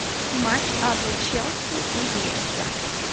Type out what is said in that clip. матч апл челси и лестер